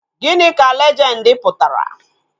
Gịnị ka lejendi pụtara?